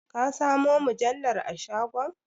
Ka samo mujallar a shagon?